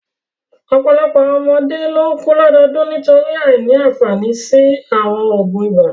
Ọ̀pọ̀lọpọ̀ àwọn ọmọdé ló ń kú lọ́dọọdún nítorí àìní àfààní sí àwọn oògùn ibà.